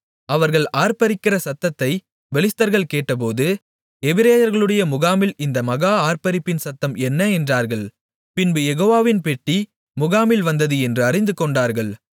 அவர்கள் ஆர்ப்பரிக்கிற சத்தத்தைப் பெலிஸ்தர்கள் கேட்டபோது எபிரெயர்களுடைய முகாமில் இந்த மகா ஆர்ப்பரிப்பின் சத்தம் என்ன என்றார்கள் பின்பு யெகோவாவின் பெட்டி முகாமில் வந்தது என்று அறிந்துகொண்டார்கள்